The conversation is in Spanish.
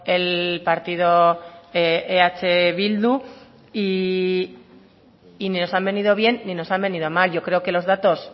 el partido eh bildu y ni nos han venido bien ni nos han venido mal yo creo que los datos